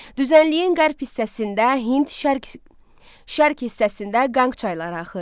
Düzənliyin qərb hissəsində Hind şərq şərq hissəsində Qanq çayları axır.